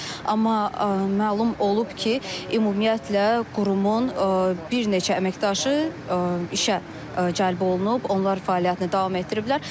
Amma məlum olub ki, ümumiyyətlə qurumun bir neçə əməkdaşı işə cəlb olunub, onlar fəaliyyətini davam etdiriblər.